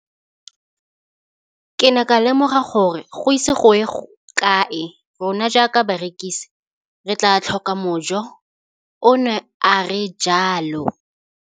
Ke ne ka lemoga gore go ise go ye kae rona jaaka barekise re tla tlhoka mojo, o ne a re jalo.